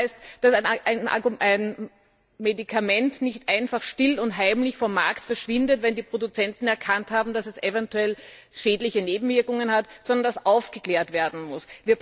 Das heißt, dass ein Medikament nicht einfach still und heimlich vom Markt verschwindet, wenn die Produzenten erkannt haben, dass es eventuell schädliche Nebenwirkungen hat, sondern dass aufgeklärt werden muss.